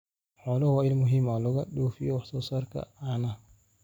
Xooluhu waa il muhiim ah oo laga dhoofiyo wax soo saarka caanaha.